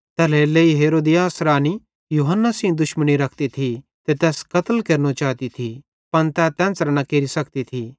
तैल्हेरेलेइ हेरोदियास रानी यूहन्ना सेइं दुश्मनी रखती थी ते तैस कत्ल केरनो चाती थी पन तै तेन्च़रां न केरि सकती थी